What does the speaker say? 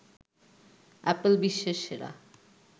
Apple বিশ্বের সেরা